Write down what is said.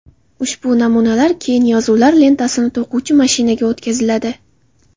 Ushbu namunalar keyin yozuvlar lentasini to‘quvchi mashinaga o‘tkaziladi.